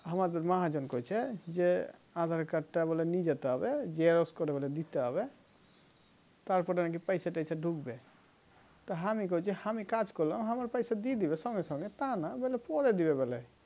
আমাদের মহাজন কৈছে যে aadhar card টা বলে নিয়ে যেতে হবে xerox করে করে দিতে হবে তার পরে নাকি পয়সা টয়সা ঢুকবে তা হামি কৈছি হামি কাজ করলাম হামার পয়সা দিয়ে দিবে সঙ্গে সঙ্গে তানা বলে পরে দিবে বলে